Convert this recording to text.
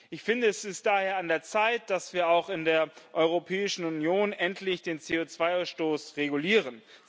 Ich finde, es ist daher an der Zeit, dass wir auch in der Europäischen Union endlich den CO2 Ausstoß regulieren.